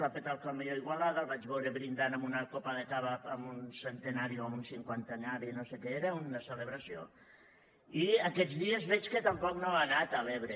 va petar el camió a igualada el vaig beure brindant amb una copa de cava en un centenari o en un cinquantenari no sé què era una celebració i aquests dies veig que tampoc no ha anat a l’ebre